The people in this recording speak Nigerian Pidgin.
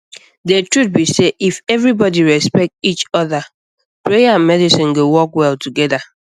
the truth be sey if everybody respect each other prayer and medicine go work well together